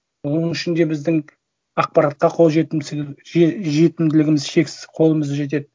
оның ішінде біздің ақпаратқа қол жетімділігіміз шексіз қолымыз жетеді